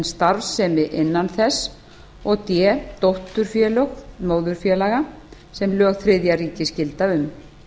starfsemi innan þess og d dótturfélög móðurfélaga sem lög þriðja ríkis gilda um